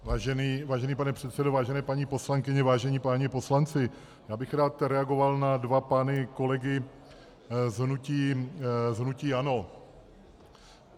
Vážený pane předsedo, vážené paní poslankyně, vážení páni poslanci, já bych rád reagoval na dva pány kolegy z hnutí ANO.